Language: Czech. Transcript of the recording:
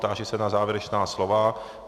Táži se na závěrečná slova.